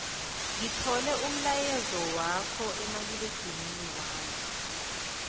ngithole umlayezwakho kumaliledinini wami